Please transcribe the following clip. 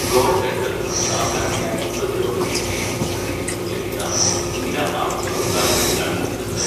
Goaltender, സാധാരണയായി പ്രതിരോധ മേഖലയിൽ ക്രീസ് എന്ന് വിളിക്കുന്ന നീല, അർദ്ധ വൃത്താകൃതിയിലാണ് നിൽക്കുന്നത്.